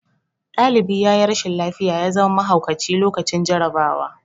Ɗalibi yayi rashin lafiya ya zama mahaukaci lokacin jarabawa